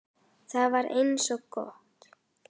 Það var eins gott!